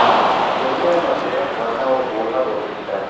یہی ہے مصلحت ورنہ وہ بوڑھا بول سکتا ہے